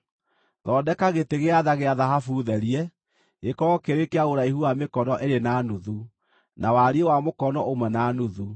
“Thondeka gĩtĩ gĩa tha gĩa thahabu therie, gĩkorwo kĩrĩ kĩa ũraihu wa mĩkono ĩĩrĩ na nuthu, na wariĩ wa mũkono ũmwe na nuthu.